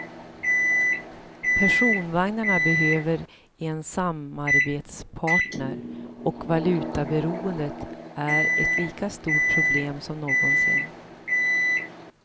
Personvagnarna behöver en samarbetspartner och valutaberoendet är ett lika stort problem som någonsin.